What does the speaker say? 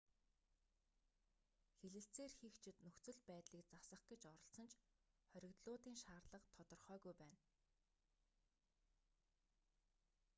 хэлэлцээр хийгчид нөхцөл байдлыг засах гэж оролдсон ч хоригдлуудын шаардлага тодорхойгүй байна